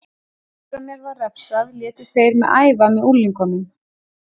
Eftir að mér var refsað létu þeir mig æfa með unglingunum.